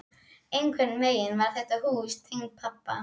Einhvern veginn var þetta hús tengt pabba.